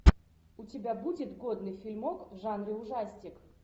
у тебя будет годный фильмок в жанре ужастик